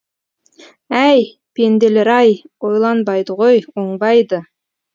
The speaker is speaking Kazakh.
әй пенделер ай ойланбайды ғой оңбайды